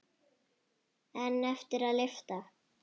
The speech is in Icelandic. En eftir er að lyfta.